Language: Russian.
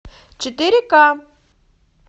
четыре ка